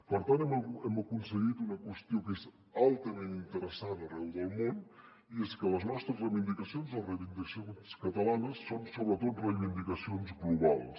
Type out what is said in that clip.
per tant hem aconseguit una qüestió que és altament interessant arreu del món i és que les nostres reivindicacions les reivindicacions catalanes són sobretot reivindicacions globals